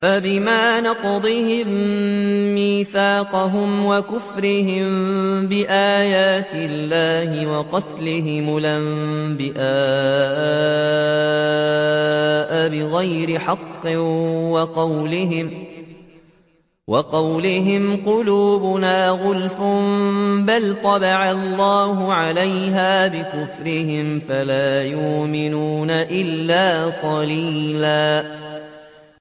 فَبِمَا نَقْضِهِم مِّيثَاقَهُمْ وَكُفْرِهِم بِآيَاتِ اللَّهِ وَقَتْلِهِمُ الْأَنبِيَاءَ بِغَيْرِ حَقٍّ وَقَوْلِهِمْ قُلُوبُنَا غُلْفٌ ۚ بَلْ طَبَعَ اللَّهُ عَلَيْهَا بِكُفْرِهِمْ فَلَا يُؤْمِنُونَ إِلَّا قَلِيلًا